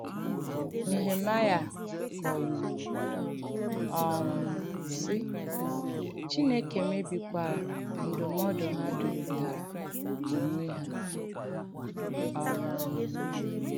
Nèhèmàịà kọ̀wùrù, um sị̀: “Chìnèkè mèbìkwàrà ndùm̀nọ̀dù hà dụ̀rị̀tàrà ònwè ha.” um